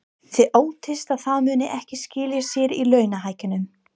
Þið óttist að það muni ekki skila sér í launahækkunum?